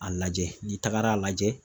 A lajɛ ,n'i tagara lajɛ